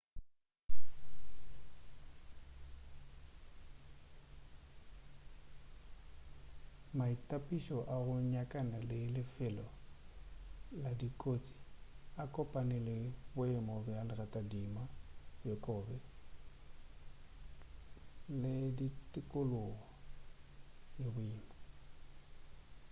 maitapišo a go nyakana le lefelo la kotsi a kopane le boemo bja leratadima bjo bobe le tikologo ye boima